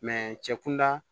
cɛ kunda